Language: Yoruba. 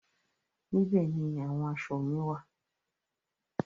Níbẹ̀ ni àwọn aṣọ mi wá à.